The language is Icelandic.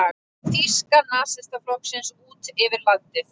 Þýska nasistaflokksins út yfir landið.